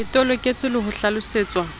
ke toloketswe le ho hlalosetswa